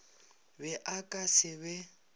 be a ka se be